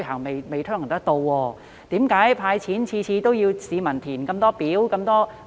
為何政府每次"派錢"皆規定市民填寫眾多表格呢？